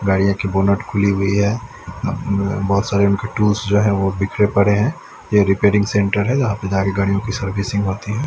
गाड़ियों की बोनट खुली हुई है व बहुत सारे टूल्स जो हैं वो बिखरे पड़े हैं यह रिपेयरिंग सेंटर है यहां पे सारी गाड़ियों की सर्विसिंग होती है।